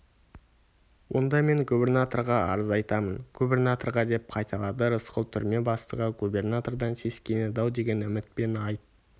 онда мен губірнатырға арыз айтамын гүбірнатырға деп қайталады рысқұл түрме бастығы губернатордан сескенеді-ау деген үмітпен айт